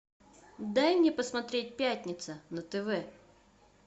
дай мне посмотреть пятница на тв